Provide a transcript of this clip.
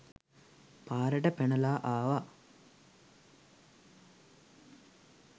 පාරට පැනලා ආවා